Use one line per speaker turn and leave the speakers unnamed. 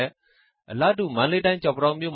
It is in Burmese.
ယ်။” အလားတူပဲ မန္တလေးတိုင်း မတ္တရာနဲ့ ကျောက်ပန်းတောင်း မြို့